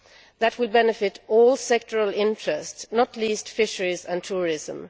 That will benefit all sectoral interests, not least fisheries and tourism.